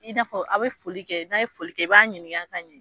I n'a fɔ a be foli kɛ, n'a ye foli kɛ, i b'a ɲininga ka ɲɛ